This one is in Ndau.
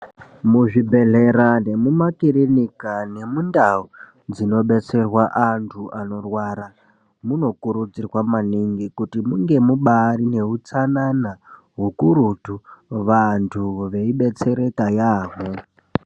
Muzvibhehlera nemumakirinika nemundau dzinobetsera vantu vanorwara munokurudzirwa maningi kuti mubaaneutsanana hukurutu vantu veidetsereka yaamho.